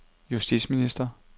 justitsminister